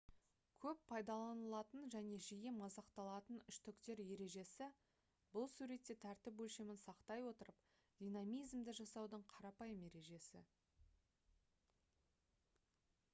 көп пайдаланылатын және жиі мазақталатын үштіктер ережесі бұл суретте тәртіп өлшемін сақтай отырып динамизмді жасаудың қарапайым ережесі